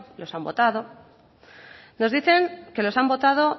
los han votado nos dicen que los han votado